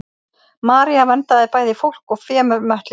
maría verndaði bæði fólk og fé með möttli sínum